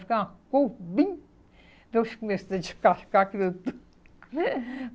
Ficava uma cor bem...